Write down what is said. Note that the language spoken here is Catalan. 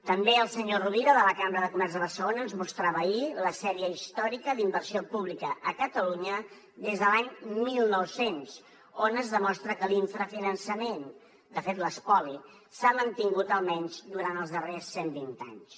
també el senyor rovira de la cambra de comerç de barcelona ens mostrava ahir la sèrie històrica d’inversió pública a catalunya des de l’any mil nou cents on es demostra que l’infrafinançament de fet l’espoli s’ha mantingut almenys durant els darrers cent vint anys